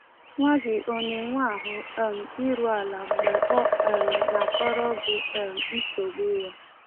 Nwa gị ọ na-enwe ahụ um iru ala mgbe ọ um na-akọrọ gị um nsogbu ya?